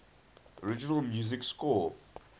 original music score